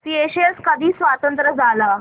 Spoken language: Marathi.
स्येशेल्स कधी स्वतंत्र झाला